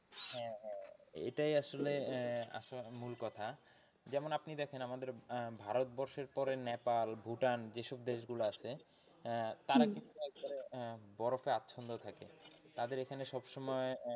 এটাই আসলে আহ মূল কথা যেমন আপনি দেখেন আমাদের আহ ভারতবর্ষের পরে নেপাল ভুটান যেসব দেশগুলো আছে আহ তারা কিন্তু একবারে আহ বরফে আছন্ন থাকে। তাদের এখানে সবসময়,